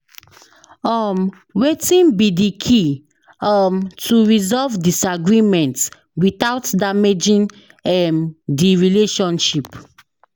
um wetin be di key um to resolve disagreement without damaging um di relationship?